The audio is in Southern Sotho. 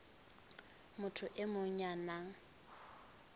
motho e mong ya nang